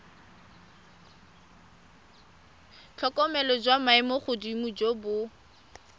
tlhokomelo jwa maemogodimo jo bo